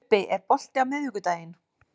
Ubbi, er bolti á miðvikudaginn?